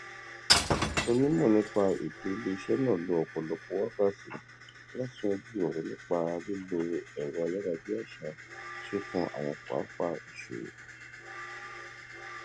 onímọ nípa owó iléiṣẹ náà lo ọpọlọpọ wákàtí láti yanjú ọrọ nípa lílo ẹrọayárabíàṣá tí ó kan àwọn pápá ìṣòwò